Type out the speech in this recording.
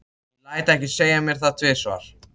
Ég lét ekki segja mér það tvisvar.